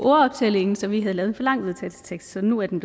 ordoptællingen så vi havde lavet en for lang vedtagelsestekst nu er den